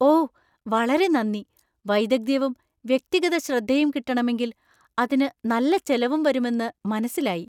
ഓ വളരെ നന്ദി! വൈദഗ്ധ്യവും വ്യക്തിഗത ശ്രദ്ധയും കിട്ടണമെങ്കില്‍ അതിനു നല്ല ചെലവും വരുമെന്ന് മനസ്സിലായി.